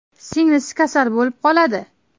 Singlisi kasal bo‘lib qoladi.